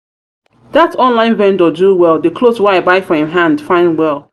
that online vendor do well the cloth wey i buy for him hand fine well.